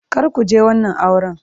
Kar ku je wannan auren!